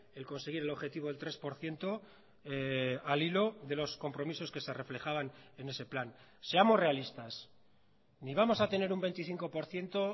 el conseguir el objetivo del tres por ciento al hilo de los compromisos que se reflejaban en ese plan seamos realistas ni vamos a tener un veinticinco por ciento